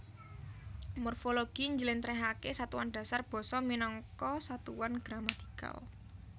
Morfologi njlentrehake satuan dasar basa minangka satuan gramatikal